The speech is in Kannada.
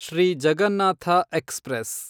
ಶ್ರೀ ಜಗನ್ನಾಥ ಎಕ್ಸ್‌ಪ್ರೆಸ್